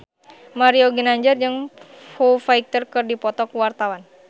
Mario Ginanjar jeung Foo Fighter keur dipoto ku wartawan